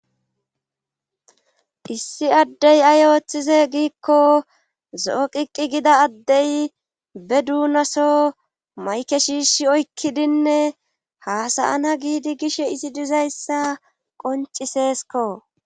Issi addey ay ooththize giikko zo7o qiqqi gida addey be duunaso mayke shiishi oykkidinne haasayana giidi gish izi dizayssa qonciseesko